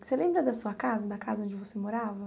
Você lembra da sua casa, da casa onde você morava?